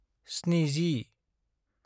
स्निजि